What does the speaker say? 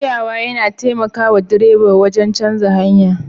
Juyawa yana taimaka wa direba ya canza hanya